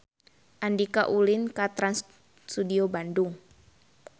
Andika ulin ka Trans Studio Bandung